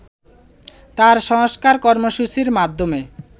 তাঁর সংস্কার কর্মসূচীর মাধ্যমে